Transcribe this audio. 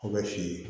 O bɛ f'i ye